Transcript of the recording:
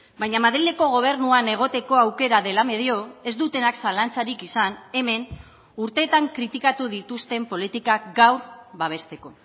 baina madrileko gobernuan egoteko aukera dela medio ez dutenak zalantzarik izan hemen urteetan kritikatu dituzten politikak gaur babesteko